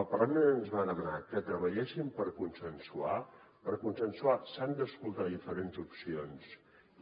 el parlament ens va demanar que treballéssim per consensuar per consensuar s’han d’escoltar diferents opcions